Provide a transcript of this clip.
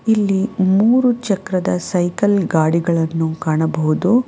ಇಲ್ಲಿ ಮೂರು ಚಕ್ರದ ಸೈಕಲ್ ಗಾಡಿಗಳನ್ನು ಕಾಣಬಹುದು.